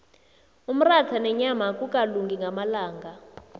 umratha nenyama akukalungi ngamalanga